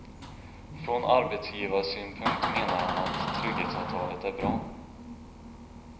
Från arbetsgivarsynpunkt menar han att trygghetsavtalet är bra.